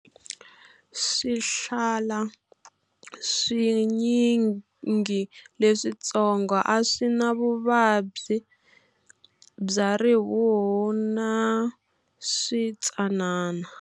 Swihlala swinyingi leswitsongo a swi na vuvabyi bya rihuhu na switsanana.